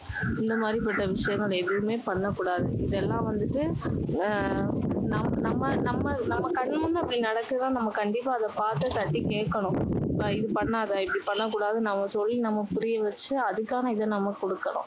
இந்த மாதிரி பட்ட விஷயங்கள் எதுவுமே பண்ணக்கூடாது. இதெல்லாம் வந்துட்டு அஹ் நம்ம நம்ம நம்ம கண் முன்னே இப்படி நடக்குதுன்னா நம்ம கண்டிப்பா அதை பாத்து தட்டி கேக்கணும். இது பண்ணாத. இப்படி பண்ணக்கூடாதுன்னு நம்ம சொல்லி நம்ம புரியவச்சு, அதுக்கான இதை நம்ம கொடுக்கணும்.